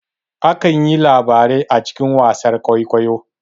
Akan yi labarai a cikin wasar kwaikwayo